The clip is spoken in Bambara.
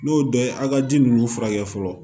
N'o dɔ ye a ka ji ninnu furakɛ fɔlɔ